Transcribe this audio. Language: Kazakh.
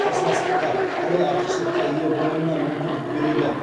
қарсыластықта талай артықшылыққа ие болуына мүмкіндік береді